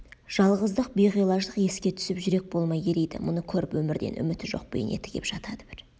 жалғыздық биғилаждық еске түсіп жүрек болмай ериді мұны көріп өмірден үміті жоқ бейнеті кеп жатады бір